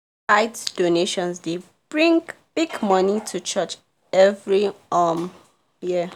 tithe donations dey bring big money to church every um year